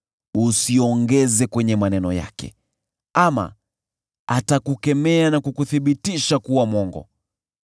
Usiongeze kwenye maneno yake, ama atakukemea na kukuthibitisha kuwa mwongo.